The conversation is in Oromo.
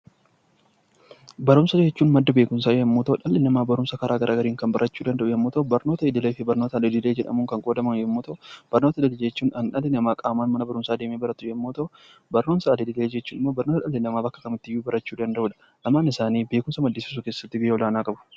Barumsa jechuun madda beekumsaa yemmuu ta'u, dhalli namaa bifa garaagaraan barachuu kan danda'u yoo ta'u, innis barnoota idilee fi al-idilee jedhamuun kan qoodamu yoo ta'u, barumsa idilee jechuun kan qaamaan deemanii baratamu yoo ta'u, al-idilee jechuun kan dhalli namaa bakka kamittuu barachuu danda'udha. lamaan isaanii beekumsa maddisiisuu keessatti gahee olaanaa qabu.